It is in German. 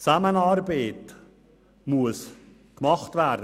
Die Zusammenarbeit ist notwendig.